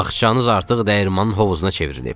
"Bağçanız artıq dəyirman hovuzuna çevrilib.